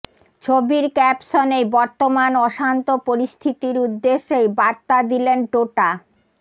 ছবির ক্যাপশনেই বর্তমান অশান্ত পরিস্থিতির উদ্দেশ্যেই বার্তা দিলেন টোটা